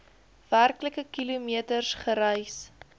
werklike kilometers gereis